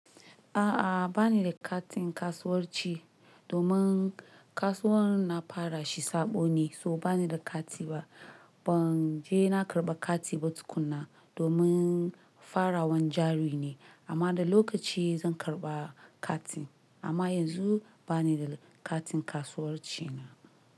A'a, bani da katin kasuwanci domin kasuwar na fara shi sabo ne, so bani da kati ba. Ban je na karɓa kati ba tukuna domin fara wan jari ne amma da lokaci zan karɓa katin. Amma yanzu bani da katin kasuwanci na.